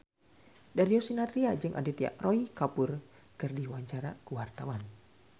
Darius Sinathrya jeung Aditya Roy Kapoor keur dipoto ku wartawan